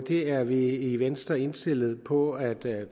det er vi i venstre indstillet på at